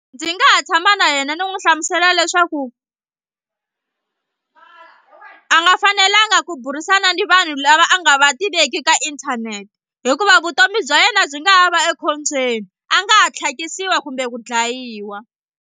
Ndzi nga ha tshama na yena ni n'wi hlamusela leswaku a nga fanelanga ku burisana ni vanhu lava a nga va tiveki ka inthanete hikuva vutomi bya yena byi nga ha va ekhombyeni a nga ha tlhakisiwa kumbe ku dlayiwa.